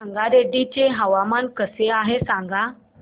संगारेड्डी चे हवामान कसे आहे सांगा